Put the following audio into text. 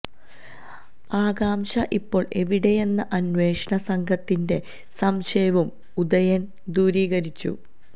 ആകാംക്ഷ ഇപ്പോൾ എവിടെയെന്ന അന്വേഷണ സംഘത്തിൻറെ സംശയവും ഉദയൻ ദൂരീകരിച്ചു